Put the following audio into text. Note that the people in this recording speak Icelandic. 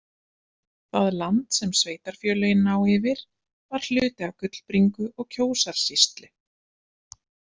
Það land sem sveitarfélögin ná yfir var hluti af Gullbringu- og Kjósarsýslu.